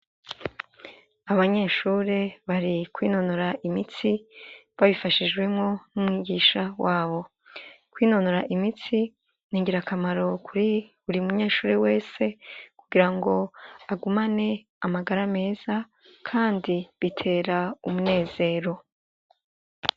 Abanyeshuri bari kwinonora imitsi babifashishwimwo n'umwigisha wabo kwinonora imitsi ntingira akamaro kuri uri munyeshuri wese kugira ngo agumane amagara meza, kandi bitera umunezero.